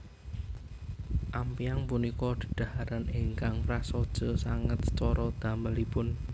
Ampyang punika dhedhaharan ingkang prasaja sanget cara damelipun